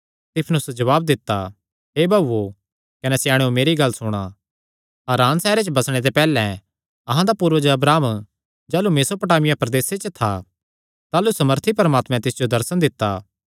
सित्फनुस जवाब दित्ता हे भाऊओ कने स्याणेयो मेरी गल्ल सुणा हारान सैहरे च बसणे ते पैहल्लैं अहां दा पूर्वज अब्राहम जाह़लू मेसोपोटामिया प्रदेसे च था ताह़लू सामर्थी परमात्मैं तिस जो दर्शन दित्ता